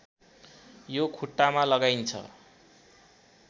यो खुट्टामा लगाइन्छ